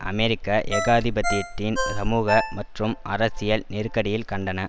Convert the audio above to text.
அமெரிக்க ஏகாதிபத்தியத்தின் சமூக மற்றும் அரசியல் நெருக்கடியில் கண்டன